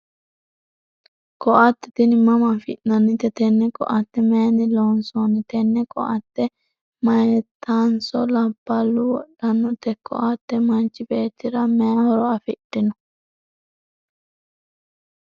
katte tini mamaa afi'nannite tenne koatte mayiinni loonsooni? tenne koatte mayaatinso labbaluno wodhannote? koatte manchi beettira mayi horo afidhino ?